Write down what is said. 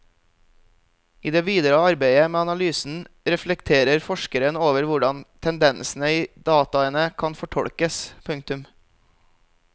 I det videre arbeidet med analysen reflekterer forskeren over hvordan tendensene i dataene kan tolkes. punktum